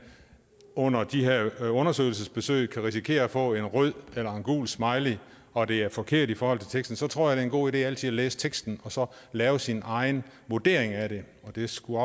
under de her undersøgelsesbesøg kan risikere at få en rød eller en gul smiley og det er forkert i forhold til teksten så tror jeg en god idé altid at læse teksten og så lave sin egen vurdering af det det skulle